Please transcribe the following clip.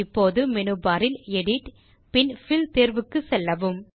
இப்போது menu bar இல் edit பின் பில் தேர்வுக்கு செல்லவும்